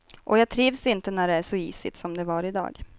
Och jag trivs inte när det är så isigt som det var idag.